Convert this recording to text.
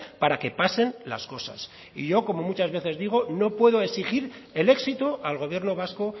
para que pasen las cosas y yo como muchas veces digo no puedo exigir el éxito al gobierno vasco